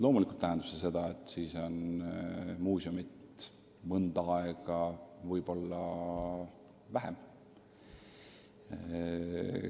Loomulikult tähendab see seda, et siis on muuseumi mõnda aega lihtsalt vähem.